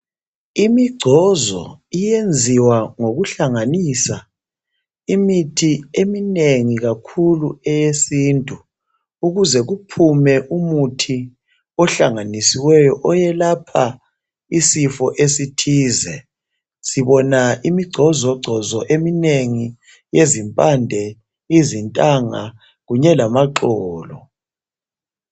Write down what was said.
Imigcozo iyenziwa ngokuhlanganisa imithi eminengi kakhulu eyesintu ukuze kuphume umuthi ohlanganisiweyo oyelapha isifo esithize. Sibona imigcozogcozo eminengi yezimpande, izintanga kunye lamaxolo